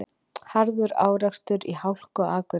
Harður árekstur í hálku á Akureyri